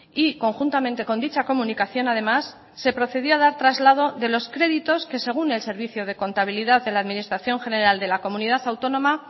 y conjuntamente con dicha comunicación además se procedió a dar traslado de los créditos que según el servicio de contabilidad de la administración general de la comunidad autónoma